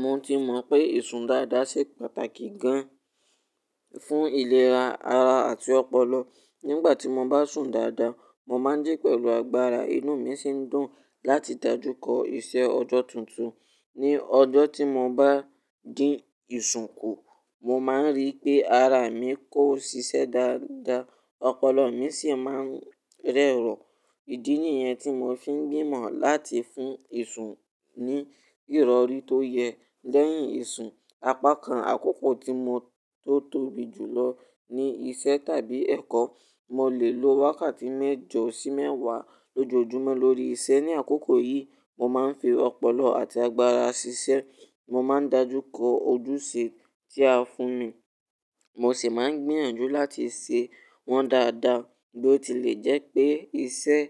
Mo ti mọ̀ pé ìsun dáadáa ṣe pàtàkì gan fún ìlera ara àti ọpọlọ. Nígbà tí mo bá sùn dáadáa, mo máa ń jí pẹ̀lú agbára. Inú mi sì ń dùn láti dájú kọ iṣẹ́ ọjọ́ tuntun. Ni ọjọ́ tí mo bá dín ìsun kù, mo máa ń rí pé ara mi kò ṣiṣẹ́ dáadáa, ọpọlọ mi sì máa ń rẹ́rọ̀. Ìdí nìyẹn tí mo fi ń gbìmọ̀ láti fún ìsun ní ìrọ̀rí tó yẹ. Lẹ́yìn ìsun, apákan àkókò tí mo tó tóbi jùlọ ni iṣẹ́ tàbí ẹ̀kọ́. Mo lè lo wákàtí mẹ́jọ sí mẹ́wàá lójoojúmọ́ lórí iṣẹ́. Ni àkókò yìí, mo máa ń fi ọpọlọ àti agbára ṣiṣẹ́. Mo máa ń dájú kọ ojúṣe tí a fún mi, mo sì máa ń gbìyànjú láti ṣe wọ́n dáadáa. Bí ó tilẹ̀ jẹ́ pé iṣẹ́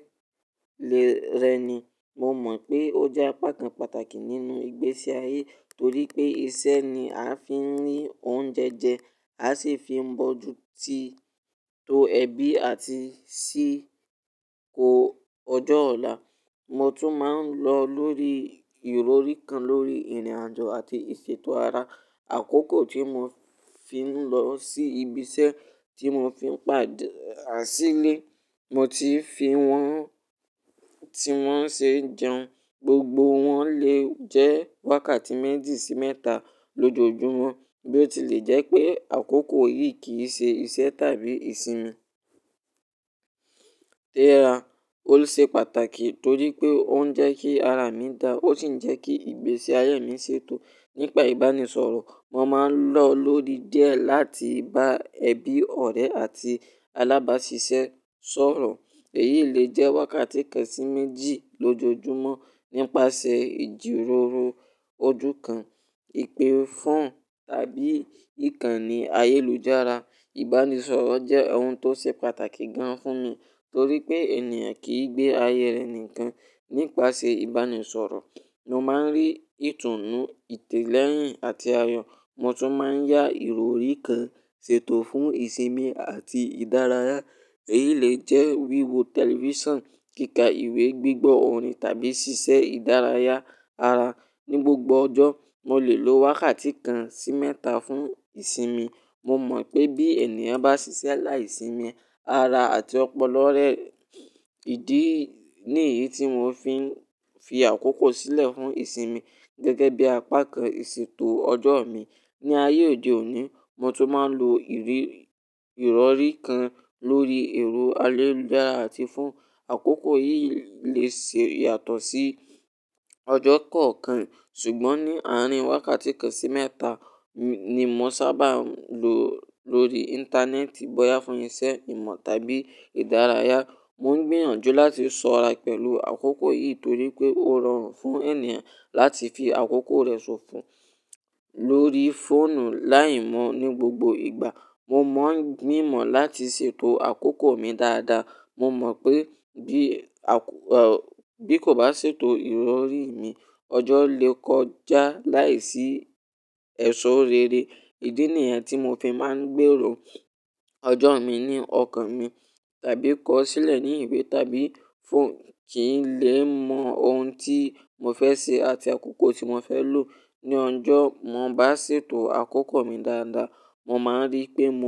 lè rẹni, mo mọ̀ pé ó jẹ́ apá kan pàtàkì nínú ìgbésí ayé, torí pé iṣẹ́ ni a fi ń rí oúnjẹ jẹ, a sì fi ń bọjú ti-- to ẹbí àti sí i kó ọjọ́ ọ̀la. Mo tún máa ń lò ó lórí ìrọ̀rí kan lórí ìrìnàjò àti ìṣètò ara. Àkókò tí mo fi ń lọ sí ibi iṣẹ́ tí mo fi ń pà- á sílé, mo ti fi wọ́n tí wọ́n ṣe jẹun. Gbogbo wọn lè jẹ́ wákàtí méjì sí mẹ́ta lójoojúmọ́. Bí ó tilẹ̀ jẹ́ pé àkókò yìí kì í ṣe iṣẹ́ tàbí ìsinmi. Tẹ́ra, ó ṣe pàtàkì torí pé ó ń jẹ́ kí ara mi dà, ó sì ń jẹ́ kí ìgbésí ayé mi ṣètò. Nípa ìbánisọ̀rọ̀, mo máa ń lò ó lórí díẹ̀ láti bá ẹbí, ọ̀rẹ́ àti alábáṣiṣẹ́ sọ̀rọ̀. Èyí lè jẹ́ wákàtí kan sí méjì lójoojúmọ́. Nípasẹ̀ ìjíròrò ojú kan, ìpè fọ́ọ̀nù tàbí ìkànnì ayélujára, ìbánisọ̀rọ̀ jẹ́ ohun tó ṣe pàtàkì gan fún mi, torí pé ènìyàn kì í gbé ayé rẹ̀ nìkan. Nípasẹ̀ ìbánisọ̀rọ̀, mo máa ń rí ìtùnú, ìtẹ́lẹ́yìn àti ayọ̀. Mo tún máa ń yá ìrọ̀rí kan ṣètò fún ìsinmi àti ìdárayá. Èyí lè jẹ́ wíwo tẹlifíṣàn, kíkà ìwé, gbígbọ́ orin tàbí ṣíṣe ìdárayá ara. Ni gbogbo ọjọ́, mo lè lo wákàtí kan sí mẹ́ta fún ìsinmi. Mo mọ̀ pé bí ènìyàn bá ṣiṣẹ́ láìsinmi, ara àti ọpọlọ rẹ-- ìdí nìyí tí mo fi ń fi àkókò sílẹ̀ fún ìsinmi gẹ́gẹ́ bí apá kan ìṣètò ọjọ́ mi. Ni ayé òde òní, mo tún máa ń lo ìrírí-- ìrọ̀rí kan lórí ẹ̀rọ ayélujára àti fọ́ọ̀nù. Àkókò yìí lè ṣe yàtọ̀ sí ọjọ́ kọ̀ọ̀kan, ṣùgbọ́n ní àárín wákàtí kan sí mẹ́ta ni mo sábà lò ó lórí íńtánẹ́ẹ̀tì, bóyá fún iṣẹ́, ìmọ̀ tàbí ìdárayá. Mo ń gbìyànjú láti sọ̀ ará pẹ̀lú àkókò yìí torí pé ó rọrùn fún ènìyàn láti fi àkókò rẹ̀ ṣòfò lórí fóònù láìmọ̀ ní gbogbo ìgbà. Mo máa ń gbìmọ̀ láti ṣètò àkókò mi dáadáa. Mo mọ̀ pé bí àk- ò, bí kò bá ṣètò ìrọ̀rí mi, ọjọ́ lè kọjá láìsí ẹ̀ṣọ́ rere. Ìdí nìyẹn tí mo fi máa ń gbèrò ọjọ́ mi ní ọkàn mi tàbí kọ ọ́ sílẹ̀ ní ìwé tàbí fóònù. Kì í lè mọ ohun tí mo fẹ́ ṣe àti àkókò tí mo fẹ́ lò ní ọjọ́. Mọ bá ṣètò àkókò mi dáadáa, mo máa rí pé mo.